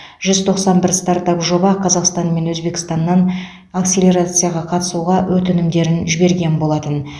жүз тоқсан бір стартап жоба қазақстан мен өзбекстаннан акселерацияға қатысуға өтінімдерін жіберген болатын